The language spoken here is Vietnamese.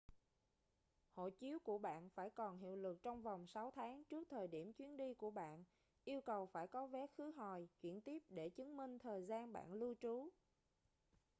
hộ chiếu của bạn phải còn hiệu lực trong vòng 6 tháng trước thời điểm chuyến đi của bạn. yêu cầu phải có vé khứ hồi/chuyển tiếp để chứng minh thời gian bạn lưu trú